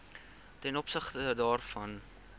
ten opsigte daarvan